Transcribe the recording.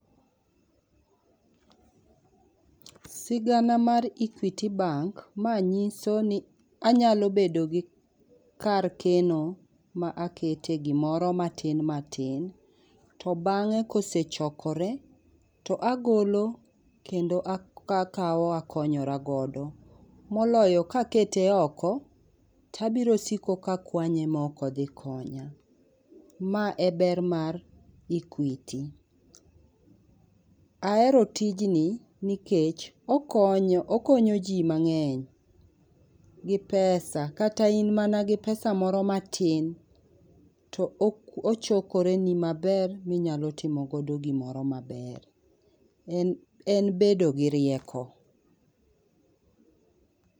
Sigana mar equity bank nyiso ni anyalo bedo gi kar keno ma a kete gi moro matin matin to bange ka osechokore to agolo kendo a kao akonyoragodo moloyo ka akete oko to abiro kwanye ma oko dhi konya ma e ber mar Equity ahero tij ni kech okonyo ji mangey gi pesa kata in mana gi pesa moro matin to ochokore ni maber ma i nyalo timo go gi moro maber en bedo gi rieko.